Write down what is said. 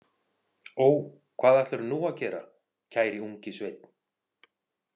Ó, hvað ætlarðu nú að gera, kæri ungi sveinn?